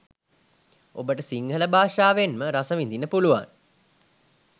ඔබට සිංහල භාෂාවෙන්ම රස විදින්න පුළුවන්